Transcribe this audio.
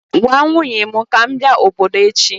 Gwa nwunye m ka m bia obodo echi!